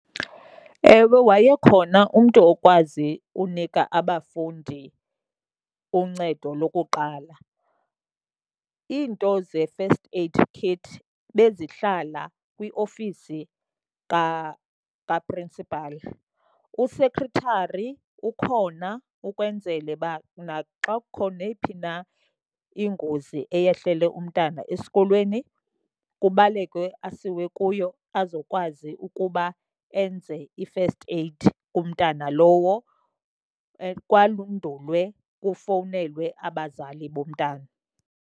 Ewe, wayekhona umntu okwazi unika abafundi uncedo lokuqala. Iinto ze-first aid kit bezihlala kwiofisi kaprinsipali. U-secretary ukhona ukwenzele uba naxa kukho neyiphi na ingozi eyehlele umntana esikolweni kubalekwe asiwe kuyo azokwazi ukuba enze i-first aid kumntana lowo, kwandulwe kufowunelwe abazali bomntana.